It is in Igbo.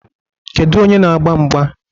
Kedu onye na-agba mgba?